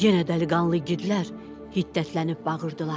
Yenə dəliqanlı igidlər hiddətlənib bağırdılar.